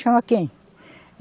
Chama quem?